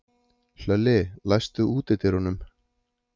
Hlölli, læstu útidyrunum.